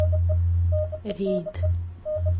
рейд